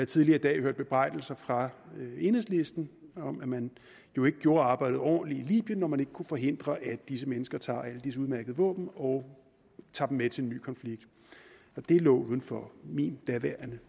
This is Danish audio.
tidligere i dag hørt bebrejdelser fra enhedslisten om at man jo ikke gjorde arbejdet ordentligt i libyen når man ikke kunne forhindre at disse mennesker tager alle disse udmærkede våben og tager dem med til en ny konflikt det lå uden for min daværende